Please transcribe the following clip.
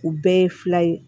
U bɛɛ ye fila ye